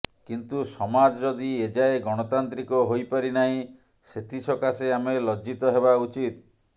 କିନ୍ତୁ ସମାଜ ଯଦି ଏଯାଏଁ ଗଣତାନ୍ତ୍ରିକ ହୋଇପାରି ନାହିଁ ସେଥି ସକାଶେ ଆମେ ଲଜ୍ଜିତ ହେବା ଉଚିତ